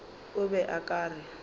o be o ka re